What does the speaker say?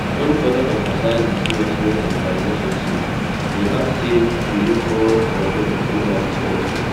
im further emphasize di seriousness of dia relationship e add say we look forward to our journey through life together